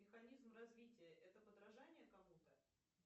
механизм развития это подражание кому то